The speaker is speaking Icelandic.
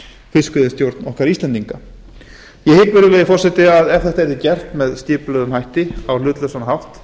fiskveiðistjórn okkar íslendinga ég hygg virðulegi forseti að ef þetta yrði gert skipulega og á hlutlausan hátt